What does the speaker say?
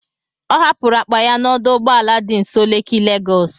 Ọ hapụrụ akpa ya n'ọdụ ụgbọ ala dị nso Leki Legọs.